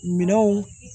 Minɛnw